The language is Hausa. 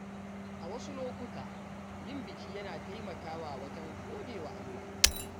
A wasu lokuta, yin biki yana taimakawa wajen gode wa Allah.